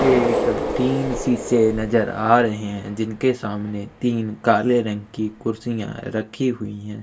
एक तीन शीशे नजर आ रहै है जिनके सामने तीन काले रंग के कुर्शिये रखी हुई है।